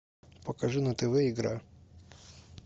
покажи на тв игра